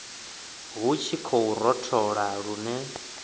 hu tshi khou rothola lune